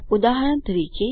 ઉદાહરણ તરીકે